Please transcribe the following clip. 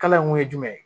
Kala in kun ye jumɛn ye